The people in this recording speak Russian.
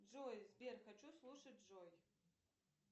джой сбер хочу слушать джой